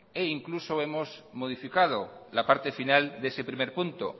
e incluso hemos modificado la parte final de ese primer punto